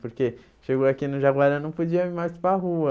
Porque chegou aqui no Jaguará, não podia ir mais para rua.